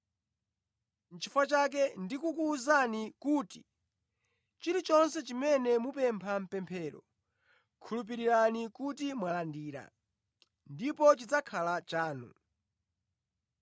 Nʼchifukwa chake ndikukuwuzani kuti chilichonse chimene mupempha mʼpemphero, khulupirirani kuti mwalandira, ndipo chidzakhala chanu.